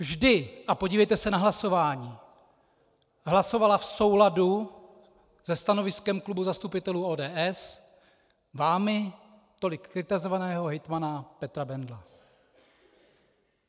Vždy, a podívejte se na hlasování, hlasovala v souladu se stanoviskem klubu zastupitelů ODS vámi tolik kritizovaného hejtmana Petra Bendla.